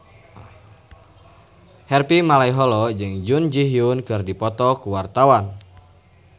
Harvey Malaiholo jeung Jun Ji Hyun keur dipoto ku wartawan